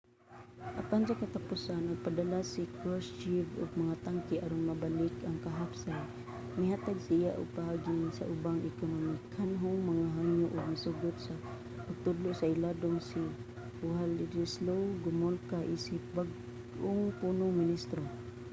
apan sa katapusan nagpadala si krushchev og mga tangke aron mabalik ang kahapsay mihatag siya og paagi sa ubang ekonomikanhong mga hangyo ug misugot sa pagtudlo sa iladong si wladyslaw gomulka isip bag-ong punong ministro